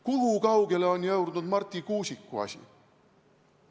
Kui kaugele on jõudnud Marti Kuusiku asi?